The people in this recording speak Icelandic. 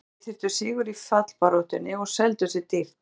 Bæði lið þurftu sigur í fallbaráttunni og seldu sig dýrt.